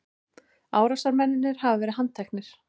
Árásarmennirnir hafa verið handteknir